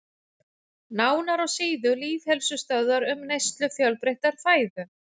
Nánar á síðu Lýðheilsustöðvar um neyslu fjölbreyttrar fæðu.